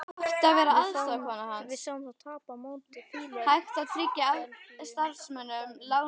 Við sáum þá tapa á móti Fíladelfíu um daginn.